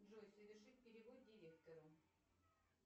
джой совершить перевод директору